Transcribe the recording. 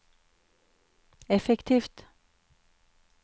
effektivt